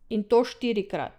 In to štirikrat!